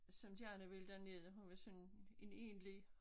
Som gerne ville derned hun var sådan en enlig